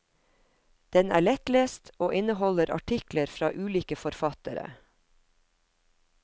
Den er lettlest, og inneholder artikler fra ulike forfattere.